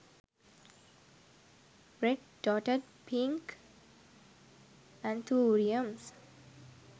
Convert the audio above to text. red dotted pink anthuriums